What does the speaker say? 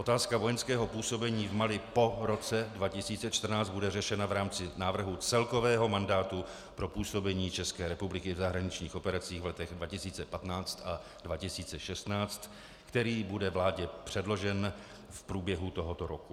Otázka vojenského působení v Mali po roce 2014 bude řešena v rámci návrhu celkového mandátu pro působení České republiky v zahraničních operacích v letech 2015 a 2016, který bude vládě předložen v průběhu tohoto roku.